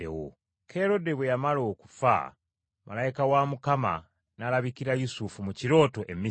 Kerode bwe yamala okufa malayika wa Mukama n’alabikira Yusufu mu kirooto e Misiri,